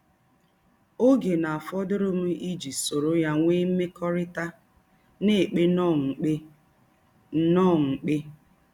Ò́gè ná-àfòdùrù m íjí sóró ya nweè m̀mekọ́rị́tà ná-èpè ǹnọ̀ọ́ m̀pè. ǹnọ̀ọ́ m̀pè.